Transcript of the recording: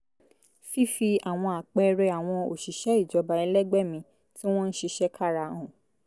fífi àwọn àpẹẹrẹ àwọn òṣìṣẹ́ ìjọba ẹlẹgbẹ́ mi tí wọ́n ń ṣiṣẹ́ kára hàn